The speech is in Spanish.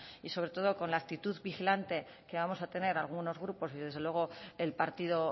y sobre todo con la actitud vigilante que vamos a tener algunos grupos y desde luego el partido